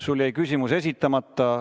Sul jäi küsimus esitamata.